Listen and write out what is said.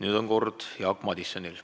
Nüüd on Jaak Madisoni kord.